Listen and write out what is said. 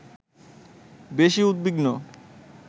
বেশি উদ্বিগ্ন